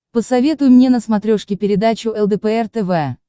посоветуй мне на смотрешке передачу лдпр тв